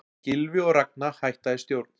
Gylfi og Ragna hætta í stjórn